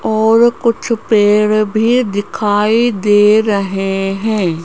और कुछ पेड़ भी दिखाई दे रहे हैं।